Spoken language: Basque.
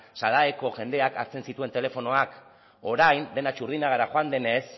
sadaeeko jendeak hartzen zituen telefonoak orain dena txurdinagara joan denez